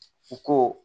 I ko